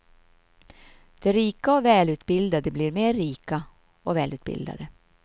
De rika och välutbildade blir mer rika och välutbildade.